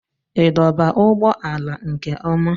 Ị dọba ụgbọala nke ọma?